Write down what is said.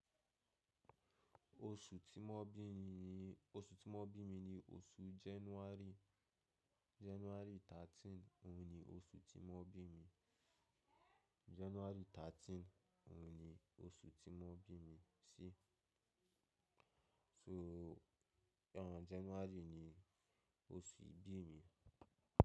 Oṣù tí mo bí mi ni oṣù January. January 13 oun ni osù tí wọ́n bí mi January thirteen òun ni oṣù tí mo bí mi sí. So January ni oṣù ìbí mi.